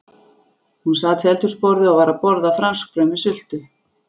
Hún sat við eldhúsborðið og var að borða franskbrauð með sultu.